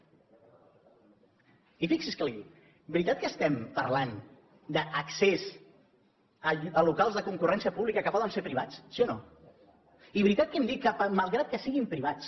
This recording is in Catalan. i fixi’s què li dic veritat que estem parlant d’accés a locals de concurrència pública que poden ser privats sí o no i veritat que hem dit que malgrat que siguin privats